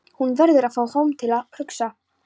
Hún verður að fá tóm til að hugsa.